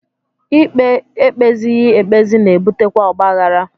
Ikpe e kpezighị ekpezi na-ebutekwa ọgbaghara